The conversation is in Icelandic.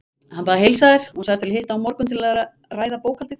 Hann bað að heilsa þér, sagðist vilja hitta þig á morgun til að ræða bókhaldið.